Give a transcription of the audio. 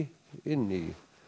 inn í